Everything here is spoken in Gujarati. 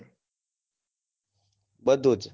બધું?